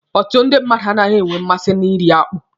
Ọtụtụ ndị mmadụ anaghị enwe mmasị na iri akpụ.